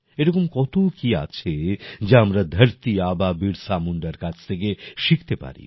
এরকম কত কি আছে যা আমরা ধারতি আবা বীরসা মুন্ডার কাছ থেকে শিখতে পারি